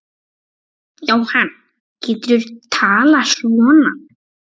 Jóhann, hvernig geturðu talað svona?